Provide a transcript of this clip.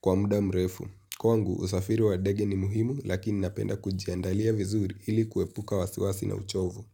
kwa muda mrefu. Kwangu, usafiri wa ndege ni muhimu, lakini napenda kujiandalia vizuri hili kuepuka wasiwasi na uchovu.